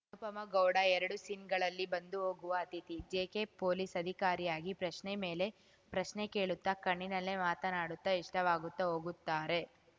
ಅನುಪಮಾ ಗೌಡ ಎರಡು ಸೀನ್‌ಗಳಲ್ಲಿ ಬಂದು ಹೋಗುವ ಅತಿಥಿ ಜೆಕೆ ಪೊಲೀಸ್‌ ಅಧಿಕಾರಿಯಾಗಿ ಪ್ರಶ್ನೆ ಮೇಲೆ ಪ್ರಶ್ನೆ ಕೇಳುತ್ತಾ ಕಣ್ಣಿನಲ್ಲೇ ಮಾತನಾಡುತ್ತಾ ಇಷ್ಟವಾಗುತ್ತಾ ಹೋಗುತ್ತಾರೆ